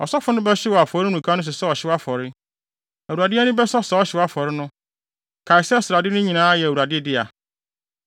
Ɔsɔfo no bɛhyew wɔ afɔremuka no so sɛ ɔhyew afɔre. Awurade ani bɛsɔ saa ɔhyew afɔre no. Kae sɛ srade no nyinaa yɛ Awurade dea.